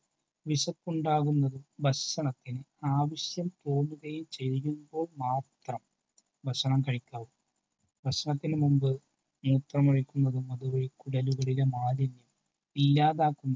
വിശപ്പുണ്ടാകുന്നതും ഭക്ഷണത്തിനു ആവശ്യം തോന്നുമ്പോൾ മാത്രം ഭക്ഷണം കഴിക്കാവൂ. ഭക്ഷണത്തിനു മുൻപ് മൂത്രമൊഴിക്കുന്നതും അത് വഴി കുടലുകളിലെ മാലിന്യം ഇല്ലാതാക്കുന്നു.